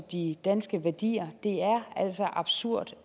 de danske værdier det er altså absurd